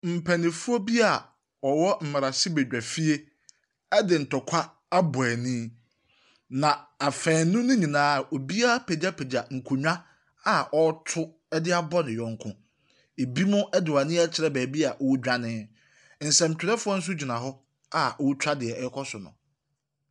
Mpanyinfoɔ bi a ɔwɔ mmerahyɛ bedwafie ɛde ntɔkwa abɔ ɛnii. Na afɛnu no nyinaa, obiara apegyapegya nkonwa a ɔreto abɔ ne yɔnko. Ebinom de wɔn ani akyerɛ baabi a ɔredwane. Nsɛmtwerɛfoɔ nso gyina hɔ a ɔretwa nea ɔrekɔ so no.